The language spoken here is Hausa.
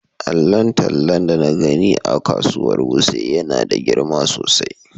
Allon talla da na gani a kasuwar wuse yana da girma sosai.